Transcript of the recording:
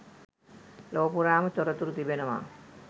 ලොව පුරාම තොරතුරු තිබෙනවා.